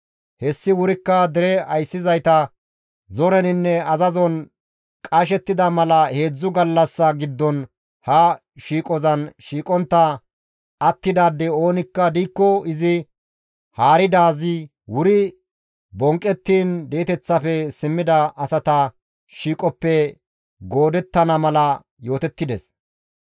Hessi wurikka dere ayssizayta zoreninne azazon qashettida mala heedzdzu gallassa giddon ha shiiqozan shiiqontta attidaadey oonikka diikko izi haaridaazi wuri bonqqettiin di7eteththafe simmida asata shiiqoppe goodettana mala yootettides.